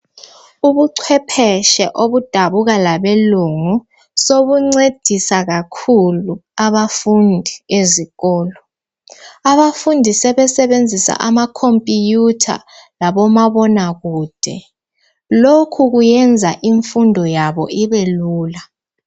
Ubucwephetshe obudabuka labelungu sobuncedisa kakhulu abafundi ezikolo , abafundi sebesebenzisa ama computer labomabonakude , lokhu kuyenza imfundo yabo ibe lula